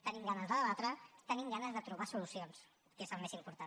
tenim ganes de debatre tenim ganes de trobar solucions que és el més important